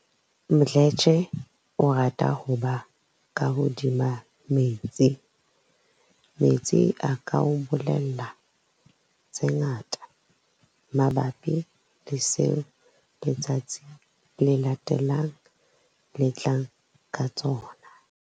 Mdletshe o rata ho ba ka hodima metsi. "Metsi a ka o bolella tse ngata mabapi le seo letsatsi le latelang le tlang ka tsona."